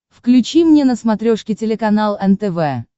включи мне на смотрешке телеканал нтв